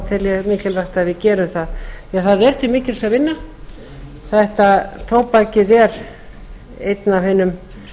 ég mikilvægi að við gerum það því að það er til mikils að vinna tóbakið er einn af hinum